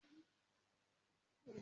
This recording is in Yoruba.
Mo máa wá ọ̀nà láti kọ́ èdè Tíífù